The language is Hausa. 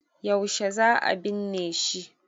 yaushe za a binne shi?